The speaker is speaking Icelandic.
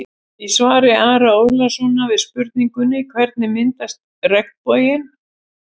Í svari Ara Ólafssonar við spurningunni: Hvernig myndast regnboginn?